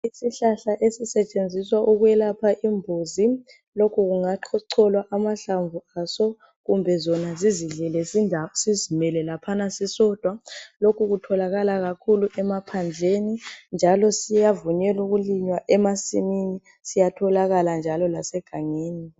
Isihlahla esisetshenziswa ukwelapha imbuzi. Lokhu kungacolwa amahlamvu aso kumbe zona zizidlela sizimele laphana sisodwa .Lokhu kutholakala kakhulu emaphandleni njalo siyavunyelwa ukulinywa emasimini ,siyatholakala njalo lasegangeni.